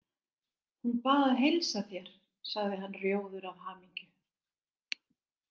Hún bað að heilsa þér sagði hann rjóður af hamingju.